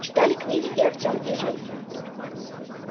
читали книги и артём и женька